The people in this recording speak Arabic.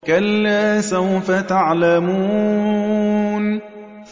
كَلَّا سَوْفَ تَعْلَمُونَ